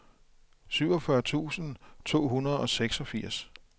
syvogfyrre tusind to hundrede og seksogfirs